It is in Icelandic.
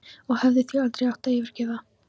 Og hefði því aldrei átt að yfirgefa